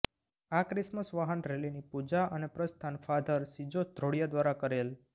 આ ક્રિસમસ વાહન રેલીની પુજા અને પ્રસ્થાન ફાધર શિજો ધ્રોળીયા દ્વારા કરેલ